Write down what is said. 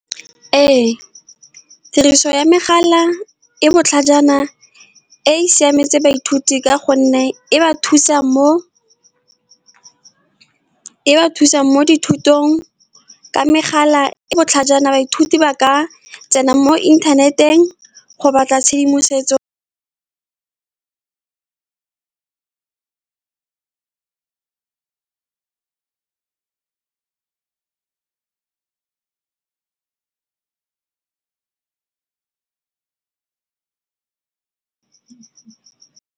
Ee, tiriso ya megala e botlhajana e siametse baithuti ka gonne, e ba thusang mo dithutong, ka megala e botlhajana. Baithuti ba ka tsena mo inthaneteng go batla tshedimosetso.